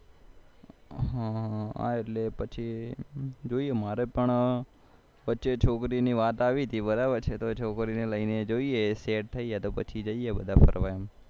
હા એટલે પછી જૌઇએ મારે પણ વચ્ચે છોકરીની વાત આવી હતી બરાબરછે તો છોકરીઓને લઈને જોઈએ સેટ થઇ જાયે તો પછી જઈએ ફરવા એમ